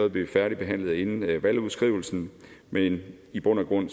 at blive færdigbehandlet inden valgudskrivelsen men i bund og grund